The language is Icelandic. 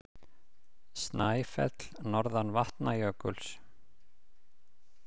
Snæfell, norðan Vatnajökuls.